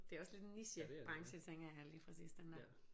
Det er også lidt en niche branche tænker jeg lige præcis den der